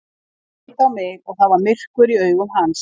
Hann leit á mig og það var myrkur í augum hans.